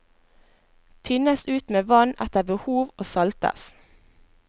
Tynnes ut med vann etter behov og saltes.